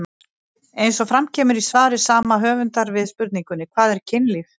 Eins og fram kemur í svari sama höfundar við spurningunni Hvað er kynlíf?